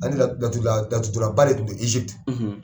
N hakila laturu dɔnna ba de tun bɛ Ezipiti